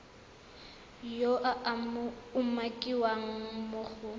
yo a umakiwang mo go